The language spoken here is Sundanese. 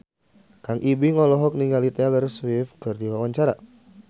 Kang Ibing olohok ningali Taylor Swift keur diwawancara